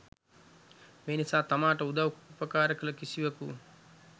මේ නිසා තමාට උදව් උපකාර කළ කිසිවකු